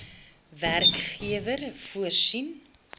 werkgewer voorsien